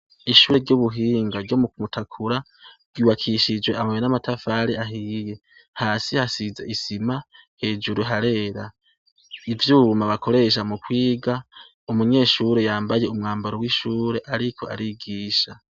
ishure ry'ubuhinga ryo mu kumutakura ryubakishijwe amabuye n'amatafari ahiye hasi hasize isima hejuru harera ivyuma bakoresha mu kwiga umunyeshuri yambaye umwambaro w'ishuri ariko arigisha